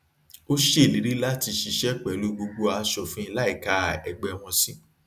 ó ṣèlérí láti ṣiṣẹ pẹlú gbogbo aṣòfin láìka ẹgbẹ wọn sí